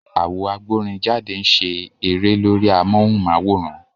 Àwo agbórinjáde ń ṣe a eré lórí amóhùnm'áwòrán